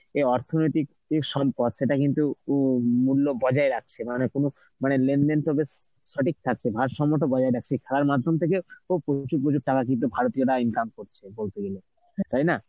কে অর্থনৈতিক কিছু সম্পদ সেটা কিন্তু উম মূল্য বজায় রাখছে, মানে কোন মানে লেনদেন তো বেশ সঠিক থাকছে ভারসাম্যটা বজায় রাখছে, খেলার মাধ্যম থেকে ভারতীয়রা income করছে. তাই না?